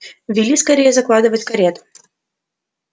вели скорей закладывать карету